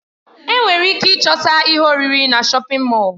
Enwere ike ịchọta ihe oriri na shọpin Mọll.